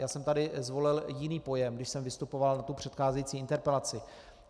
Já jsem tady zvolil jiný pojem, když jsem vystupoval na tu předcházející interpelaci.